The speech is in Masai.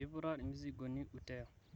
piputa irmizigoni uteo